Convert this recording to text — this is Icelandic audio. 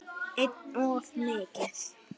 Einum of mikið.